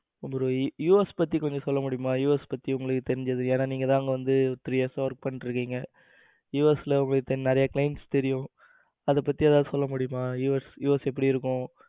bro US பத்தி கொஞ்சம் சொல்ல முடியுமா? US பத்தி உங்களுக்கு தெரிஞ்சது ஏன்னா நீங்க தான் அங்க வந்து three years work பண்ணிட்டு இருக்கீங்க US உங்களுக்கு clients தெரியும். அத பத்தி ஏதாவது சொல்ல முடியுமா US எப்படி இருக்கும்?